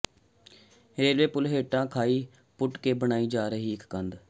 railway ਪੁਲ ਹੇਠਾਂ ਖਾਈ ਪੁੱਟ ਕੇ ਬਣਾਈ ਜਾ ਰਹੀ ਕੰਧ